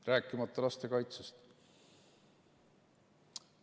Rääkimata lastekaitsest.